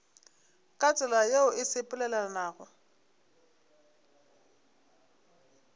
ka tsela yeo e sepelelanago